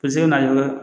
Ka se ka na jɔ